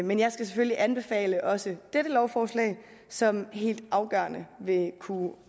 men jeg skal selvfølgelig anbefale også dette lovforslag som helt afgørende vil kunne